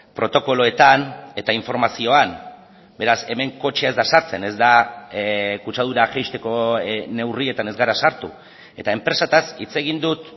protokoloetan eta informazioan beraz hemen kotxea ez da sartzen ez da kutsadura jaisteko neurrietan ez gara sartu eta enpresetaz hitz egin dut